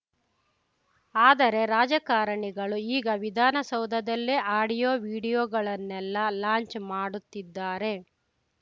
ಆದರೆ ರಾಜಕಾರಣಿಗಳು ಈಗ ವಿಧಾನಸೌಧದಲ್ಲೇ ಆಡಿಯೋ ವಿಡಿಯೋಗಳನ್ನೆಲ್ಲ ಲಾಂಚ್‌ ಮಾಡುತ್ತಿದ್ದಾರೆ